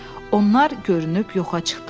Onlar görünüb yoxa çıxdılar.